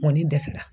Mɔni dɛsɛra